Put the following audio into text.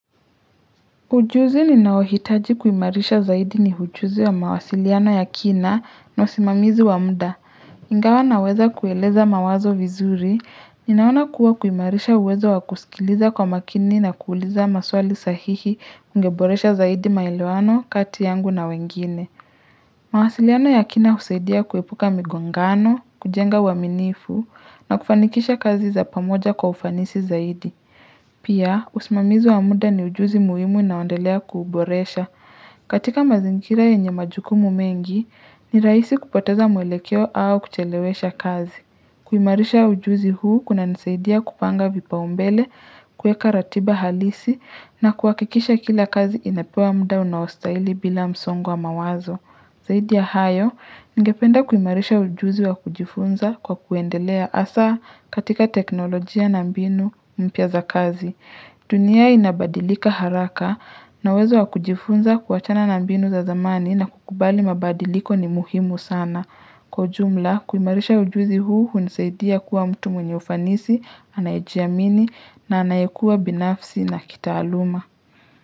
Ujuzi ni naohitaji kuimarisha zaidi ni ujuzi wa mawasiliano ya kina na usimamizi wa mda. Ingawa na weza kueleza mawazo vizuri, ninaona kuwa kuimarisha uwezo wa kusikiliza kwa makini na kuuliza maswali sahihi ungeboresha zaidi maelewano, kati yangu na wengine. Mawasiliano ya kina usaidia kuepuka migongano, kujenga uaminifu na kufanikisha kazi za pamoja kwa ufanisi zaidi. Pia, usimamizi wa muda ni ujuzi muhimu unaondelea kuboresha. Katika mazingira yenye majukumu mengi, ni raisi kupoteza mwelekeo au kuchelewesha kazi. Kuimarisha ujuzi huu kuna nisaidia kupanga vipa umbele, kueka ratiba halisi na kuakikisha kila kazi inapewa muda unaostaili bila msongo wa mawazo. Zaidi ya hayo, ngependa kuimarisha ujuzi wa kujifunza kwa kuendelea asa katika teknolojia na mbinu mpya za kazi. Dunia inabadilika haraka na uwezo wa kujifunza kuachana na mbinu za zamani na kukubali mabadiliko ni muhimu sana. Kwa ujumla, kuimarisha ujuzi huu hunisaidia kuwa mtu mwenye ufanisi, anayejiamini na anayekua binafsi na kitaaluma.